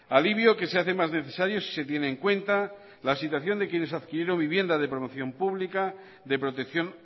alivio que se hace más necesario si se tiene en cuenta la situación de quienes adquirieron vivienda de promoción pública de protección